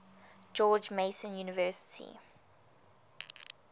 george mason university